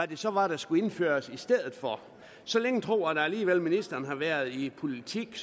det så var der skulle indføres i stedet for så længe tror jeg da alligevel at ministeren har været i politik